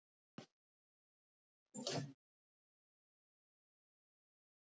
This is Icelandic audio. Trausti Jónsson veðurfræðingur fær þakkir fyrir aðstoð við gerð þessa svars.